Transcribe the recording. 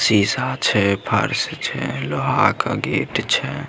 सीसा छै फर्श छै लोहा का गेट छै।